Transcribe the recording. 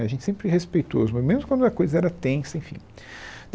A gente sempre respeitou, mesmo quando a coisa era tensa, enfim.